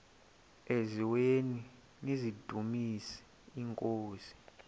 eziaweni nizidumis iinkosi